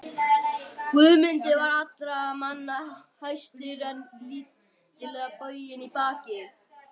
Guðmundur var allra manna hæstur en lítillega boginn í baki.